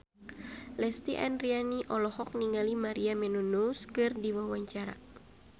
Lesti Andryani olohok ningali Maria Menounos keur diwawancara